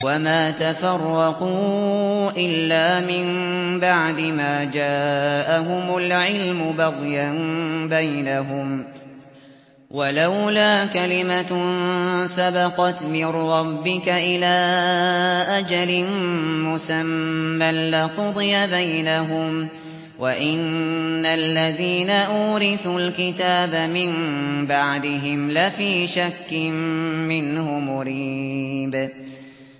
وَمَا تَفَرَّقُوا إِلَّا مِن بَعْدِ مَا جَاءَهُمُ الْعِلْمُ بَغْيًا بَيْنَهُمْ ۚ وَلَوْلَا كَلِمَةٌ سَبَقَتْ مِن رَّبِّكَ إِلَىٰ أَجَلٍ مُّسَمًّى لَّقُضِيَ بَيْنَهُمْ ۚ وَإِنَّ الَّذِينَ أُورِثُوا الْكِتَابَ مِن بَعْدِهِمْ لَفِي شَكٍّ مِّنْهُ مُرِيبٍ